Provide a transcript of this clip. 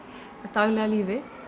daglega lífi